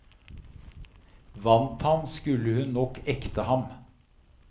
Vant han, skulle hun nok ekte ham.